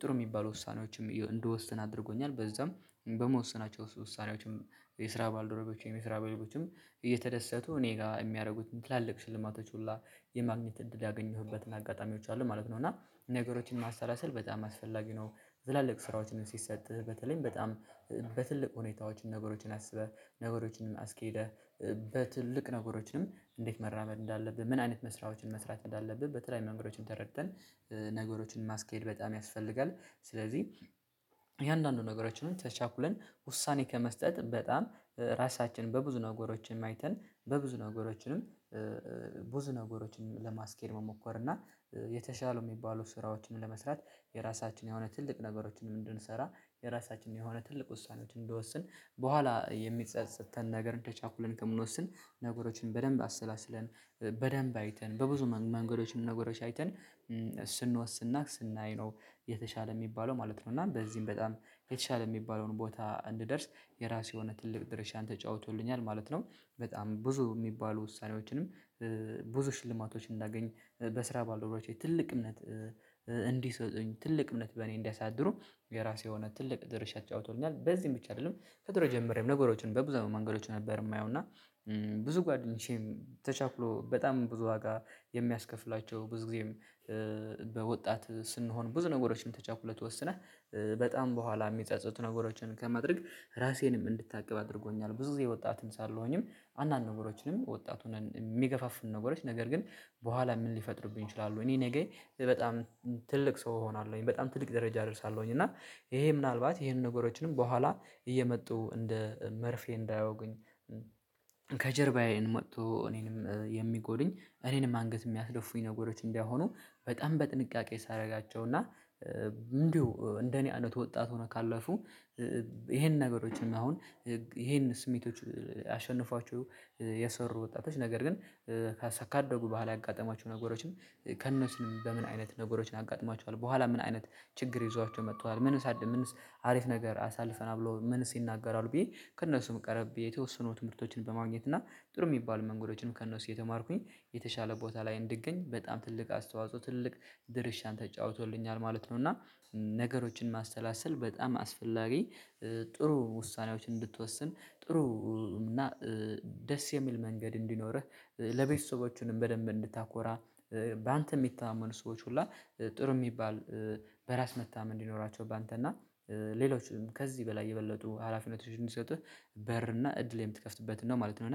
ጥሩ የሚባሉ ውሳኔዎችም እንደወሰን አድርጎኛል። በዛም በምወሰናቸው ውሳኔዎችም የስራ ባልደረቦችም የስራ ባልደረቦችም እየተደሰቱ እኔ ጋር የሚያደርጉት ትላልቅ ሽልማቶች ሁላ የማግኘት እድል ያገኘሁበትን አጋጣሚዎች አሉ ማለት ነው። እና ነገሮችን ማሳላሰል በጣም አስፈላጊ ነው። ትላልቅ ስራዎችን ሲሰጥህ በተለይም በጣም በትልቅ ሁኔታዎች ነገሮችን አስበህ ነገሮችን አስኬደህ በትልቅ ነገሮችንም እንዴት መራመድ እንዳለብህ ምን አይነት መስራዎችን መስራት እንዳለብህ በተለየዩ መንገዶችን ተረድተን ነገሮችን ማስኬድ በጣም ያስፈልጋል። ስለዚህ የእያንዳንዱን ነገሮችን ተቻኩለን ውሳኔ ከመስጠት በጣም ራሳችንን በብዙ ነገሮች አይተን በብዙ ነገሮችንም ብዙ ነገሮችንም ለማስኬድ መሞከር እና የተሻለው የሚባሉ ስራዎችን ለመስራት የራሳችን የሆነ ትልቅ ነገሮችን ምን እንድንሰራ የራሳችን የሆነ ትልቅ ውሳኔዎችን እንድወስን በኋላ የሚጸጸትተን ነገር ተቻኩለን ከምንወስን ነገሮችን በደንብ አሰላስለን በደንብ አይተን በብዙ መንገዶችን ነገሮች አይተን ስንወስና ስናይ ነው የተሻለ የሚባለው ማለት ነው። እና በዚህም በጣም የተሻለ የሚባለውን ቦታ እንድደርስ የራሴ የሆነ ትልቅ ድርሻን ተጫውቶልኛል ማለት ነው። በጣም ብዙ የሚባሉ ውሳኔዎችንም ብዙ ሽልማቶች እንዳገኝ በስራ ባልደረቦቼ ትልቅ እምነት እንዲሰጡኝ ትልቅ እምነት በእኔ እንዲያሳድሩ የራሴ የሆነ ትልቅ ድርሻ ተጫውቶልኛል። በዚህም ብቻ አይደለም ከድሮ ጀምሬም ነገሮችን በዛው መንገዶች ነበር የማየው እና። ብዙ ጓደኞቼም ተቻኩሎ በጣም ብዙ ዋጋ የሚያስከፍላቸው ብዙ ጊዜም በወጣት ስንሆን ብዙ ነገሮችን ተቻኩለህ ወስነህ በጣም በኋላ የሚጸጸቱትን ነገሮችን ከማድረግ ራሴንም እንድታቅብ አድርጎኛል። ብዙ ጊዜ ወጣትም ሳልሆንም አንዳንድ ነገሮችንም ወጣት ሆነን የሚገፋፍሉ ነገሮች ነገር ግን በኋላ ምን ሊፈጥሩብኝ ይችላሉ እኔ ነገኝ በጣም ትልቅ ሰው እሆናለሁኝ በጣም ትልቅ ደረጃ እደርሳለሁኝ። እና ይሄ ምናልባት ይሄንን ነገሮችንም በኋላ እየመጡ እንደ መርፌ እንዳይወጉኝ። ከጀርባዬን መጥቶ እኔንም የሚጎዱኝ እኔንም አንገት የሚያስደፉኝ ነገሮች እንዳይሆኑ በጣም በጥንቃቄ ሳደርጋቸው እና እንዲሁ እንደኔ አይነት ወጣት ሆነው ካለፉ። ይሄን ነገሮችን አሁን ይሄን ስሜቶች አሸንፏችሁ የሰሩ ወጣቶች ነገር ግን ካሳ ካደጉ በኋላ ያጋጠማቸው ነገሮችም ከእነሱም በምን አይነት ነገሮችን አጋጥሟቸዋል በኋላ ምን አይነት ችግር ይዟቸው መጥተዋል ምንስአድ ምንስ አሪፍ ነገር አሳልፈናል ብሎ ምንስ ይናገራሉ ብዬ ከእነሱም ቀርቤ የተወሰኑ ትምህርቶችን በማግኘት እና ጥሩ የሚባሉ መንገዶችንም ከእነሱ እየተማርኩኝ የተሻለ ቦታ ላይ እንድገኝ በጣም ትልቅ አስተዋጽኦ ትልቅ ድርሻን ተጫውቶልኛል ማለት ነው። እና ነገሮችን ማሰላሰል በጣም አስፈላጊ ጥሩ ውሳኔዎች እንድትወስን ጥሩ እና ደስ የሚል መንገድ እንዲኖርህ ለቤተሰቦቹንም በደንብ እንድታኮራ በአንተ የሚተማመኑ ሰዎች ሁላ ጥሩ የሚባል በራስ መተማመን እንዲኖራቸው በአንተና ሌሎችም ከዚህ በላይ የበለጡ ሀላፊነቶች እንዲሰጥህ በር እና እድል የምትከፍትበት ነው ማለት ነው። እና